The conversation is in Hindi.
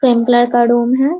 पिंक कलर का रूम है ।